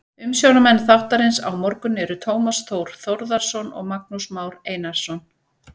Umsjónarmenn þáttarins á morgun eru Tómas Þór Þórðarson og Magnús Már Einarsson.